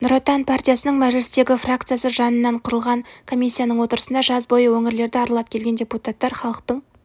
нұр отан партиясының мәжілістегі фракциясы жанынан құрылған комиссияның отырысында жаз бойы өңірлерді аралап келген депутаттар халықтың